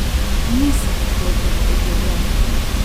Ni se odklopila od življenja.